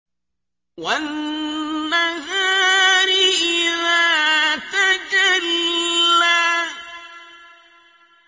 وَالنَّهَارِ إِذَا تَجَلَّىٰ